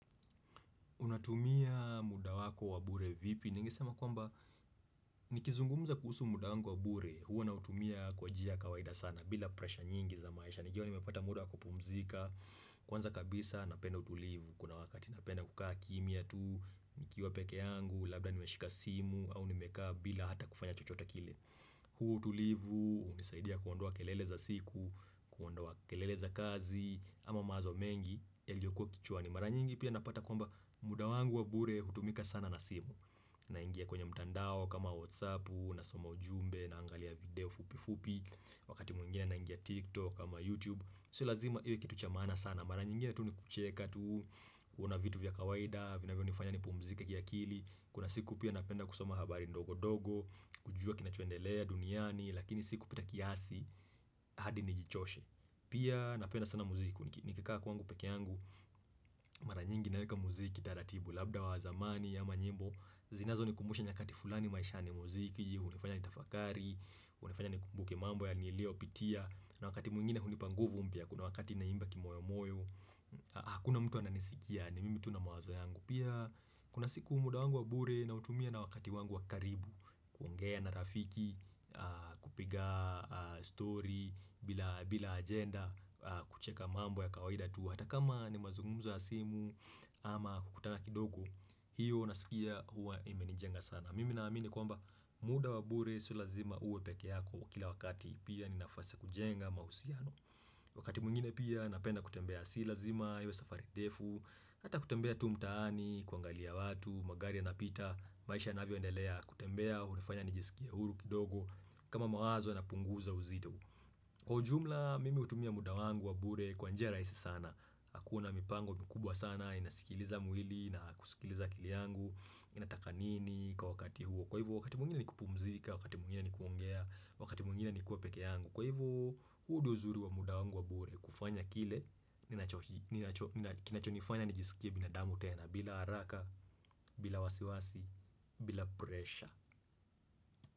Unatumia muda wako wa bure vipi? Ningesema kwamba nikizungumuza kuhusu muda wangu wa bure huwa nautumia kwa njia kawaida sana bila presha nyingi za maisha nijue nimepata muda wako pumzika Kwanza kabisa napenda utulivu kuna wakati napenda kukaa kimia tu nikiwa peke yangu labda nimeshika simu au nimekaa bila hata kufanya chochote kile huo utulivu unisaidia kuondoa kelele za siku kuondoa kelele za kazi ama mawazo mengi yalio kwa kichwani, mara nyingi pia napata kwamba muda wangu wa bure hutumika sana na simu naingia kwenye mtandao kama whatsappu, nasoma ujumbe na angalia video fupi fupi Wakati mwingine naingia tiktok ama youtube, sio lazima iwe kitu cha maana sana mara nyingine tu ni kucheka tu uona vitu vya kawaida vina vyonifanya nipumzike ki akili Kuna siku pia napenda kusoma habari ndogo ndogo kujua kinachoendelea duniani Lakini sikupita kiasi hadi nijichoshe Pia napenda sana muziki Nikikaa kwangu peke yangu mara nyingi naweka muziki taratibu Labda wa zamani ama nyimbo zinazo ni kumbusha nyakati fulani maisha n muziki hnifanya ni tafakari, hunifanya n kumbuke mambo ya niliopitia na wakati mwingine hunipa panguvu mpya kuna wakati na imba kimoyo moyo ha hakuna mtu ananisikia ni mimi tu na mawazo yangu Pia kuna siku umuda wangu wa bure nautumia na wakati wangu wa karibu kuongea na rafiki kupiga story bila agenda kucheka mambo ya kawaida tu hata kama ni mazungumzo ya alsimu ama kukutana kidogo hiyo nasikia hua imenijenga sana mimi na amini kwamba muda wa bure sio lazima uwe peke yako kila wakati pia ni nafasi kujenga mahusiano wakati mwngine pia napenda kutembea si lazima iwe safari ndefu hata kutembea tu mtaani kuangalia watu magari ya napita maisha yanavyo endelea kutembea hunifanya nijisikie huru kidogo kama mawazo na punguza uzito Kwa ujumla mimi hutumia muda wangu wa bure kwa njia rahisi sana hakuna mipango mkubwa sana inasikiliza mwili na kusikiliza akili yangu inataka nini kwa wakati huo Kwa hivo wakati mwingine ni kupumzika, wakati mwingine ni kuongea, wakati mwingine ni kuwa peke yangu Kwa hivo huu ndio uzuri wa muda wangu wa bure kufanya kile ninacho kina cho nifanya nijisikie binadamu tena bila haraka, bila wasiwasi, bila presha.